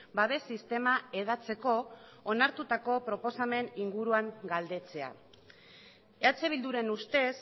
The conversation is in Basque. babes sistema hedatzeko onartutako proposamenaren inguruan galdetzea eh bilduren ustez